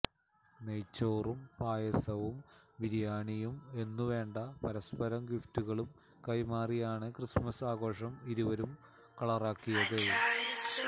നെയ്ച്ചോറും പായസവും ബിരിയാണിയും എന്നുവേണ്ട പരസ്പരം ഗിഫ്റ്റുകളും കൈമാറിയാണ് ക്രിസ്തുമസ് ആഘോഷം ഇരുവരും കളറാക്കിയത്